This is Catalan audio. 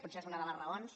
potser és una de les raons